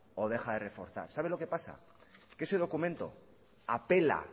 o deja de reforzar sabe lo qué pasa que ese documento apela